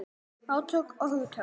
Átök um hugtök.